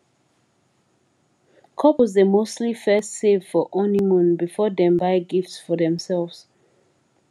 couples dey mostly first save for honeymoon before dem buy gift for themselves